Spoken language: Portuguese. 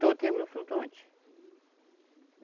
Todo tempo no flutuante.